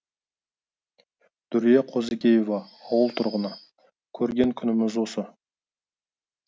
дүрия қозыкеева ауыл тұрғыны көрген күніміз осы